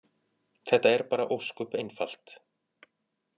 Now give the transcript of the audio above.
Þetta er bara ósköp einfalt.